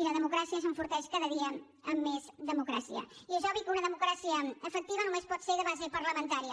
i la democràcia s’enforteix cada dia amb més democràcia i és obvi que una democràcia efectiva només pot ser de base parlamentària